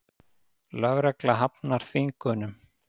Lögregla hafnar þvingunum